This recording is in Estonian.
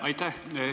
Aitäh!